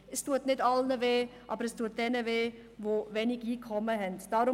Es tut nicht allen weh, aber es tut denen weh, die wenig Einkommen haben.